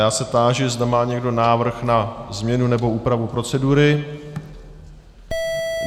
Já se táži, zda má někdo návrh na změnu nebo úpravu procedury.